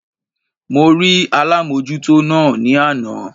Mo rí alámójútó náà ní àná